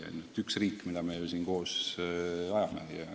On ju üks riik, mida me siin koos edendame.